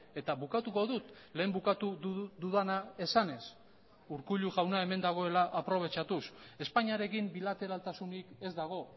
eta bukatuko dut lehen bukatu dudana esanez urkullu jauna hemen dagoela aprobetxatuz espainiarekin bilateraltasunik ez dago